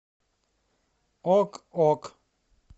ок ок